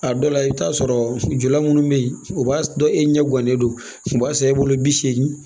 A dɔw la i bɛ taa sɔrɔ jo minnu bɛ yen o b'a sɔrɔ e ɲɛ guwanen don u b'a san e bolo bi seegin